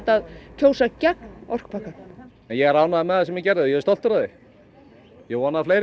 kjósa gegn orkupakkanum ég er ánægður með það sem ég gerði og ég er stoltur af því ég vona að fleiri